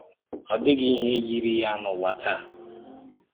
Ọ dịghị ìhè yírí ya n’ụ̀wà táá.